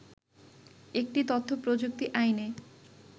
একটি তথ্য প্রযুক্তি আইনে